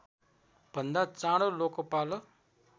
भन्दा चाँडो लोकपाल